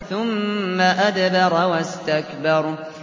ثُمَّ أَدْبَرَ وَاسْتَكْبَرَ